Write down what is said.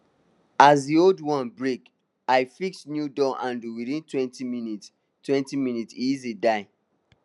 as d old one break i fix new door handle withintwentyminutestwentyminutes e easy die